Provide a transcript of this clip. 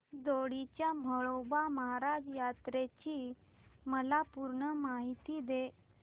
दोडी च्या म्हाळोबा महाराज यात्रेची मला पूर्ण माहिती दे